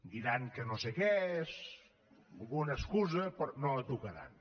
diran que no sé què alguna excusa però no la tocaran